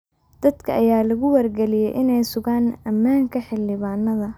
Dadka ayaa lagu wargeliyay inay sugaan ammaanka Xildhibaanada.